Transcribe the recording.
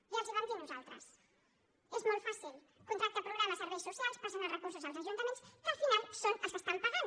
ja els ho vam dir nosaltres és molt fàcil contracte programa a serveis socials passen els recursos als ajuntaments que al final són els que estan pagant